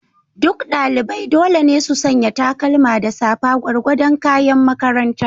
Duk ɗalibai dole ne su sanya takalma da safa, gwargwadon kayan makaranta.